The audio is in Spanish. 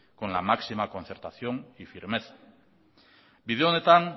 con la máxima concertación y firmeza bide honetan